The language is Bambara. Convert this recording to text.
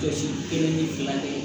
Jɔsi kelen ni fila de